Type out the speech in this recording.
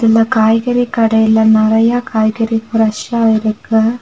இந்த காய்கறி கடையில நெறைய காய்கறி பிரஷ்ஷா இருக்கு.